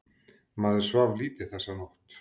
Maður svaf lítið þessa nótt.